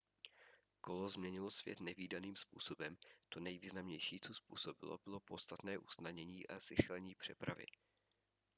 kolo změnilo svět nevídaným způsobem to nejvýznamnější co způsobilo bylo podstatné usnadnění a zrychlení přepravy